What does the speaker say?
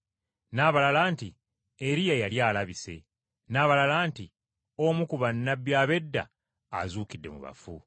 n’abalala nti, “Eriya yali alabise,” n’abalala nti, “Omu ku bannabbi ab’edda azuukidde mu bafu.”